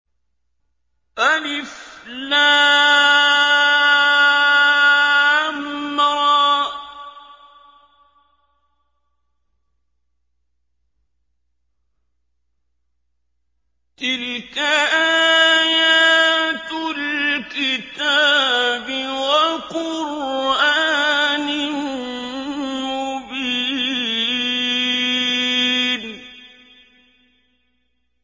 الر ۚ تِلْكَ آيَاتُ الْكِتَابِ وَقُرْآنٍ مُّبِينٍ